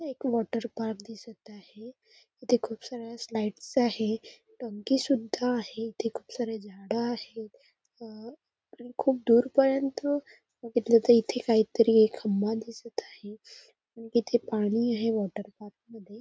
त एक water park दिसत आहे इथे खूप साऱ्या स्लाईड्स आहे डोंकी सुद्धा आहे इथे खूप सारे झाडे आहेत अ खूप दूर पर्यंत बघीतल तर काहीतरी एक खंबा दिसत आहे तिथे पाणी आहे वॉटर पार्क मध्ये.